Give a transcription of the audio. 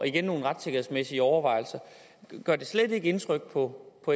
igen nogle retssikkerhedsmæssige overvejelser gør det slet ikke indtryk på